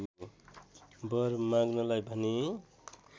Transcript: वर माँग्नलाई भने